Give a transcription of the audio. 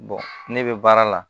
ne bɛ baara la